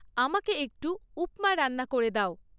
আমাকে একটু উপ্‌মা রান্না করে দাও